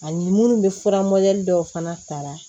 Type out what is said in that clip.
Ani minnu bɛ fura modɛli dɔw fana ta